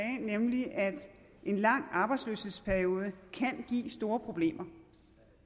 nemlig at en lang arbejdsløshedsperiode kan give store problemer